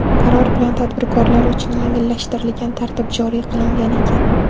Qaror bilan tadbirkorlar uchun yengillashtirilgan tartib joriy qilingan ekan.